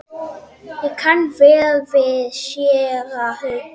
Ég kann vel við séra Hauk.